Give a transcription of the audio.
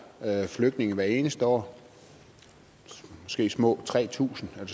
flygtninge hvert eneste år måske små tre tusind eller